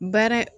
Baara